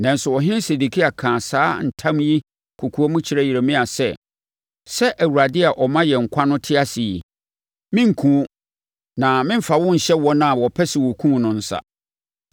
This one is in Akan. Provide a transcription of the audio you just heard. Nanso ɔhene Sedekia kaa saa ntam yi kɔkoam kyerɛɛ Yeremia sɛ, “Sɛ Awurade a ɔma yɛn nkwa no te ase yi, merenkum wo, na meremfa wonhyɛ wɔn a wɔpɛ sɛ wɔkum wo no nsa.”